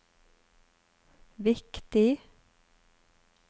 viktig